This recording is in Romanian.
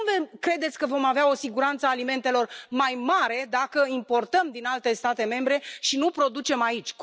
Cum credeți că vom avea o siguranță a alimentelor mai mare dacă importăm din alte state membre și nu producem aici?